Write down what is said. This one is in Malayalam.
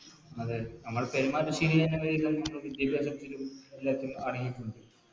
അതെ നമ്മൾ പെരുമാറ്റ വിദ്യാഭ്യാസത്തിനും എല്ലാത്തിലും അടങ്ങിയിട്ടുണ്ട്